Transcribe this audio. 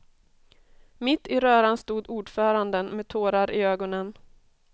Mitt i röran stod ordföranden med tårar i ögonen.